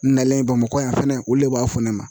N nalen Bamakɔ yan fɛnɛ olu de b'a fɔ ne ma